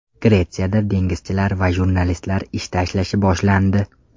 Gretsiyada dengizchilar va jurnalistlar ish tashlashi boshlandi.